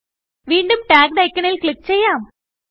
വീണ്ടുംTagged ഐക്കണിൽ ക്ലിക്ക് ചെയ്യാം